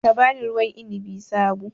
Ka ba ni ruwan inabi sabo